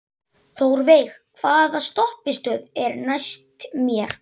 Þórveig, hvaða stoppistöð er næst mér?